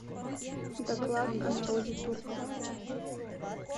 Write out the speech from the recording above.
доклад о народе турков